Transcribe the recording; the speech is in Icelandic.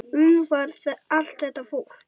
Umfram allt þetta fólk.